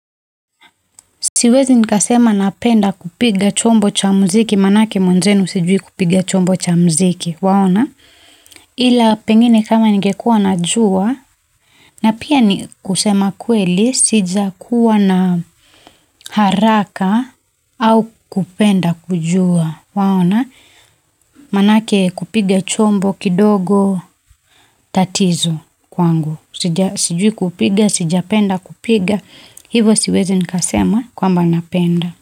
Siwezi nikasema napenda kupiga chombo cha muziki, manake mwanzenu sijui kupiga chombo cha muziki, waona? Ila pengine kama ningekuwa najua, na pia ni kusema kweli, sija kuwa na haraka au kupenda kujua waona manake kupiga chombo kidogo tatizo kwangu, sijui kupiga, sijapenda kupiga, hivyo siwezi nikasema kwamba napenda.